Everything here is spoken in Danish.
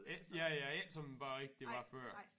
Ikke ja ja ikke som æ bageri det var før